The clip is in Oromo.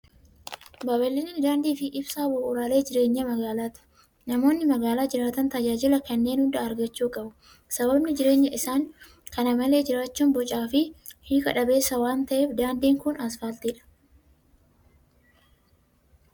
Babal'inni daandi fi ibsaa bu'uuraalee jireenya mgaalati. Namoonni magaalaa jiraatan tajaajila kanneen hunda argachuu qabu. Sababni jireenya isaan kana malee jiraachuun bocaa fi hiika dhabeessa waan ta'eef. Daandiin kun asfaaltiidha.